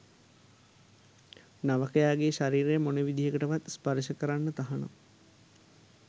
නවකයාගේ ශරීරය මොන විදිහකටවත් ස්පර්ශ කරන්න තහනම්